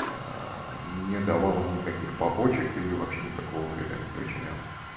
не давала никаких побочек и вообще никакого вреда не причиняла